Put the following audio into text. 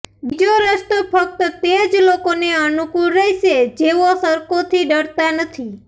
બીજો રસ્તો ફક્ત તે જ લોકોને અનુકૂળ રહેશે જેઓ સરકોથી ડરતા નથી